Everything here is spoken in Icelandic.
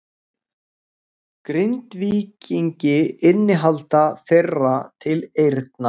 Grindvíkingi innihald þeirra til eyrna.